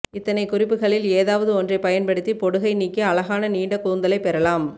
இத்தனைக் குறிப்புகளில் ஏதாவது ஒன்றைப் பயன்படுத்தி பொடுகை நீக்கி அழகான நீண்ட கூந்தலைப் பெறலாம்